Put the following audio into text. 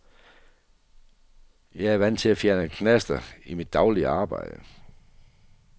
Jeg er vant til at fjerne knaster i mit daglige arbejde.